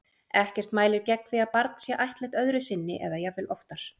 Ekkert mælir gegn því að barn sé ættleitt öðru sinni eða jafnvel oftar.